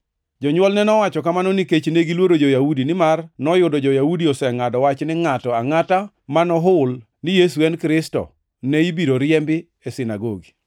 Jonywolne nowacho kamano nikech negiluoro jo-Yahudi, nimar noyudo jo-Yahudi osengʼado wach ni ngʼato angʼata ma nohul ni Yesu en Kristo ne ibiro riembi e sinagogi.